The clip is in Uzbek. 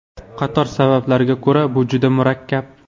Qator sabablarga ko‘ra bu juda murakkab.